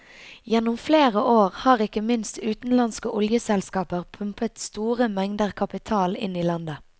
Gjennom flere år har ikke minst utenlandske oljeselskaper pumpet store mengder kapital inn i landet.